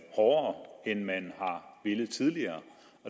hårdere end man har villet tidligere